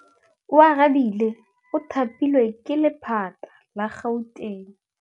Oarabile o thapilwe ke lephata la Gauteng.